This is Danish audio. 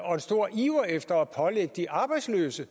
og en stor iver efter at pålægge de arbejdsløse